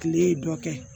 Kile ye dɔ kɛ